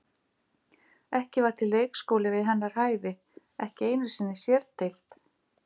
Ekki var til leikskóli við hennar hæfi, ekki einu sinni sérdeild.